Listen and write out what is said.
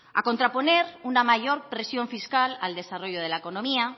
a contraponer una mayor presión fiscal al desarrollo de la economía